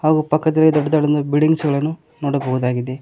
ಹಾಗು ಪಕ್ಕದಲ್ಲಿ ದೊಡ್ಡ ದೊಡ್ಡದ ಬಿಲ್ಡಿಂಗ್ಸ್ಗಳನ್ನು ನೋಡಬಹುದಾಗಿದೆ.